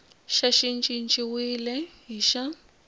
xa xi cinciwile hi xa